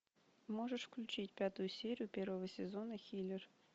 можешь включить пятую серию первого сезона хилер